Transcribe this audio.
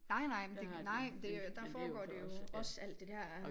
Nej nej men det nej det der foregår det jo også alt det dér